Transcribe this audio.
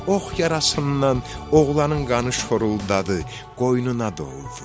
Ox yarasından oğlanın qanı şoruladı, qoynuna doldu.